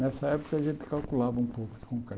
Nessa época, a gente calculava um pouco de concreto.